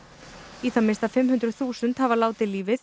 í það minnsta fimmhundruð þúsund hafa látið lífið